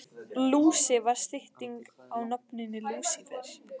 Lúsi var stytting á nafninu Lúsífer.